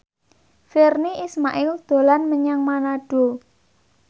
Virnie Ismail dolan menyang Manado